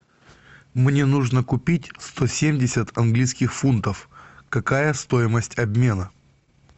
мне нужно купить сто семьдесят английских фунтов какая стоимость обмена